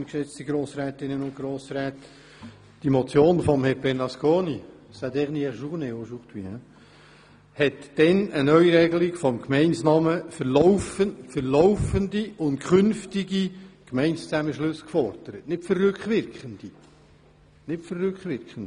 Die Motion von Grossrat Bernasconi – aujourd’hui, il passe sa dernière journée au sein du Grand Conseil – verlangte damals eine Neuregelung des Gemeindenamens für laufende und künftige Gemeindezusammenschlüsse, jedoch nicht rückwirkend für vergangene.